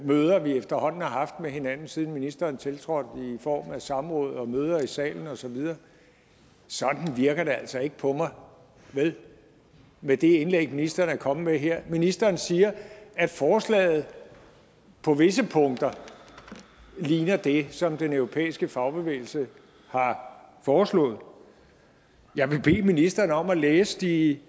møder vi efterhånden har haft med hinanden siden ministeren tiltrådte i form af samråd og møder i salen og så videre sådan virker det altså ikke på mig med det indlæg ministeren er kommet med her ministeren siger at forslaget på visse punkter ligner det som den europæiske fagbevægelse har foreslået jeg vil bede ministeren om at læse de